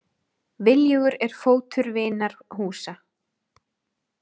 Viljugur er fótur til vinar húsa.